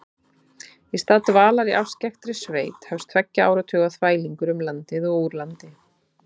Í stað dvalar í afskekktri sveit hefst tveggja áratuga þvælingur um landið og úr landi.